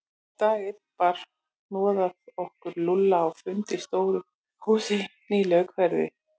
Dag einn bar hnoðað okkur Lúlla á fund í stóru húsi í nýlegu hverfi.